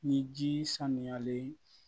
Ni ji sanuyalen